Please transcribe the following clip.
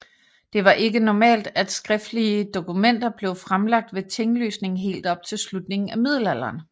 Det var ikke normalt at skriftlige dokumenter blev fremlagt ved tinglysning helt op til slutningen af middelalderen